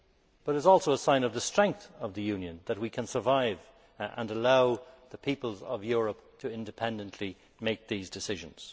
But it is also a sign of the strength of the Union that we can survive and allow the peoples of Europe to independently make these decisions.